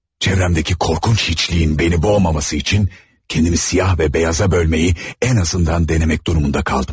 Çevremdeki korkunç hiçliyin beni boğmaması için kendimi siyah və beyaza bölmeyi en azından denəmək durumunda qaldım.